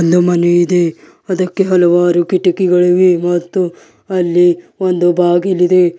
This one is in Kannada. ಒಂದು ಮನೆ ಇದೆ ಅದಕ್ಕೆ ಹಲವಾರು ಕಿಟಕಿಗಳಿವೆ ಮತ್ತು ಅಲ್ಲಿ ಒಂದು ಬಾಗಿಲಿದೆ.